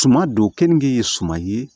Tuma don kenige ye suman ye